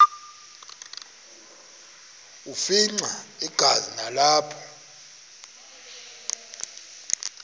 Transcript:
afimxa igazi nalapho